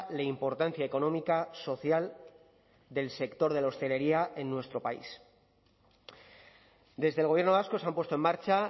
la importancia económica social del sector de la hostelería en nuestro país desde el gobierno vasco se han puesto en marcha